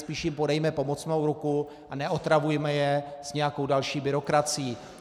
Spíš jim podejme pomocnou ruku a neotravujme je s nějakou další byrokracií.